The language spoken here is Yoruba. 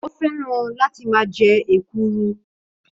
Ó fẹ́ràn láti máa jẹ ekuru